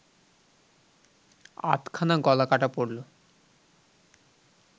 আধখানা গলা কাটা পড়ল